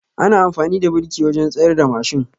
Ana amfani da biriki wajen tsayarda mashin